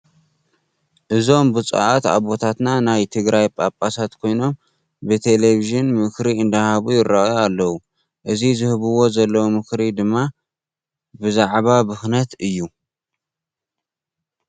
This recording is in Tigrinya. እዞም ቡፁኣት ኣቦታትና ናይ ትግራይ ጳጳሳት ኮይኖም ብቴሌብዥን ምክሪ ኣንዳሃቡ ይረኣዩ ኣለዉ። እዚ ዝህብዎ ዘለዉ ምክሪ ድማ ብዛዕባ ብክነት እዩ።